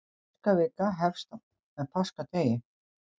Páskavikan hefst með páskadegi.